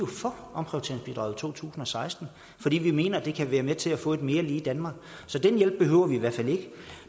for omprioriteringsbidraget i to tusind og seksten fordi vi mener at det kan være med til at få et mere lige danmark så den hjælp behøver vi i hvert fald ikke